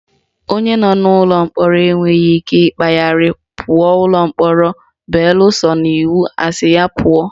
Onye nọ n'ụlọ mkpọrọ enweghị ikike ịkpagharị pụọ ụlọ mkpọrọ beluso na iwu asị ya pụọ